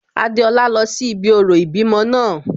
Adéọlá lọ sí ibi orò ìbímọ náà